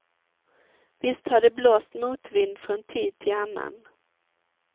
Visst har det blåst motvind från tid till annan.